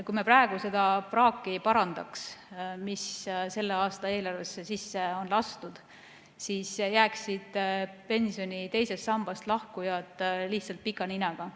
Kui me praegu seda praaki ei parandaks, mis selle aasta eelarvesse sisse on lastud, siis jääksid pensioni teisest sambast lahkujad lihtsalt pika ninaga.